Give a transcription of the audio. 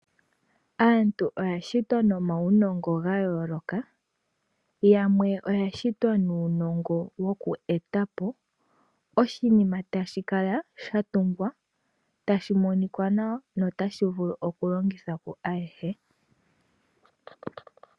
Aantu oya shitwa nomaunongo ga yooloka. Yamwe oya shitwa nuunongo woku eta po oshinima tashi kala sha tungwa, tashi monika nawa notashi vulu okulongithwa kwaayehe.